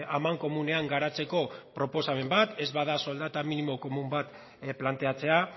amankomunean garatzeko proposamen bat ez bada soldata minimo komun bat planteatzea